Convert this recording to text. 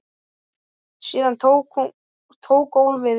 Síðan tók golfið við.